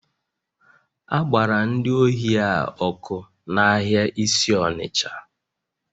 A gbara ndị ohi a ọkụ n'ahịa isi Onitsha